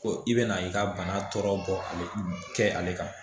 Ko i bɛna i ka bana tɔ bɔ ale kɛ ale kan